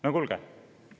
No kuulge!